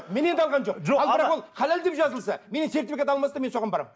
менен де алған жоқ халал деп жазылса менен сертификат алмаса мен соған барамын